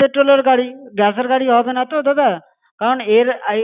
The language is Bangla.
Petrol এর গাড়ি gas এর গাড়ি হবে না তো দাদা? কারণ এর এ~